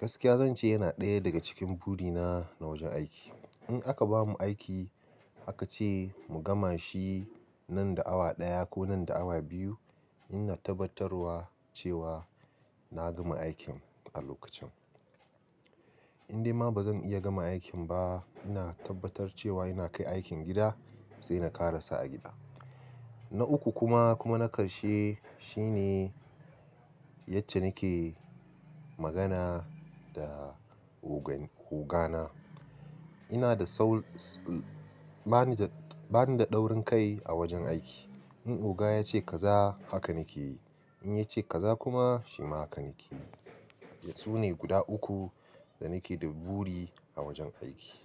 Gaskiya zan ce yana ɗaya daga cikin buri na na wajen aiki. In aka bamu aiki aka ce mu gama shi nan da awa ɗaya ko nan da awa biyu, ina tabbatarwa cewa na gama aikin a lokacin. In dai ma bazan iya gama aikin ba, ina tabbatar cewa ina kai aikin gida sai na ƙarasa a gida. Na uku kuma, kuma na ƙarshe shine yacca nake magana da ogan-ogana. Ina da sau ba ni da ba ni da taurin kai a wajen aiki. In oga ya ce kaza, haka nake yi. In ya ce kaza kuma, shima haka nake yi. Su ne guda uku da nake da buri a wajen aiki.